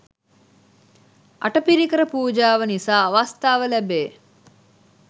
අටපිරිකර පූජාව නිසා අවස්ථාව ලැබේ